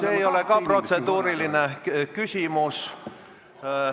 See ei ole ka protseduuriline küsimus.